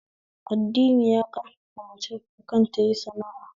Addini ya ƙarfafi mace akan tayi sana'a